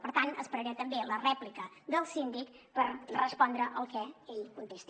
per tant esperaré també la rèplica del síndic per respondre al que ell contesti